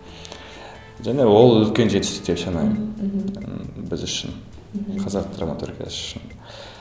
және ол үлкен жетістік деп санаймын мхм мхм ы біз үшін мхм қазақ драматургиясы үшін